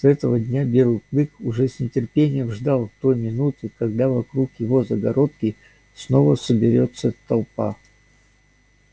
с этого дня белый клык уже с нетерпением ждал той минуты когда вокруг его загородки снова соберётся толпа